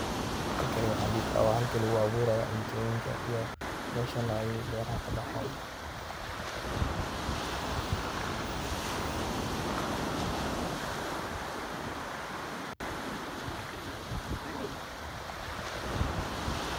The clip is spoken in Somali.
Halkani waxan dihi kara wa halka lagu abuurayo meshani ay beraaha kabaxaan.